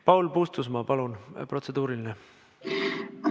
Paul Puustusmaa, palun, protseduuriline!